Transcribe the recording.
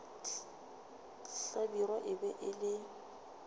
hlabirwa e be e le